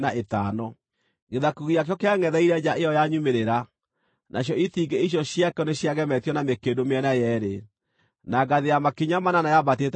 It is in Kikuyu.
Gĩthaku gĩakĩo kĩangʼetheire nja ĩyo ya nyumĩrĩra; nacio itingĩ icio ciakĩo nĩciagemetio na mĩkĩndũ mĩena yeerĩ, na ngathĩ ya makinya manana yaambatĩte ĩgakinya ho.